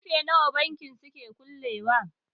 karfe nawa bankin suke kullewa?